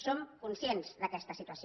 som conscients d’aquesta situació